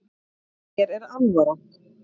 Mér er alvara